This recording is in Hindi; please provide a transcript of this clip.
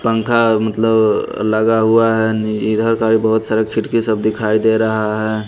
पंखा मतलब लगा हुआ है इधर का बहुत सारे खिटके सब दिखाई दे रहा है।